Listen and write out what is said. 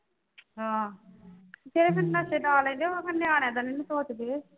ਆਹੋ ਜਿਹੜੇ ਫਿਰ ਨਸ਼ੇ ਲਾ ਲੈਂਦੇ ਉਹ ਫਿਰ ਨਿਆਣਿਆਂ ਦਾ ਨਹੀਂ ਸੋਚਦੇ